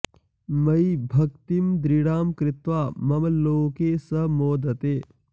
मयि भक्तिं दृढां कृत्वा मम लोके स मोदते